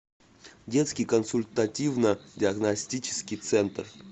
детский консультативно диагностический центр